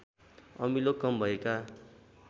अमिलो कम भएका